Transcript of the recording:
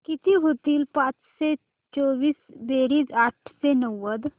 किती होईल पाचशे चोवीस बेरीज आठशे नव्वद